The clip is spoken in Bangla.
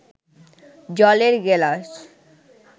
জলের গেলাস